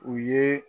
U ye